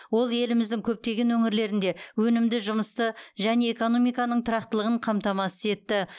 ол еліміздің көптеген өңірлерінде өнімді жұмысты және экономиканың тұрақтылығын қамтамасыз етті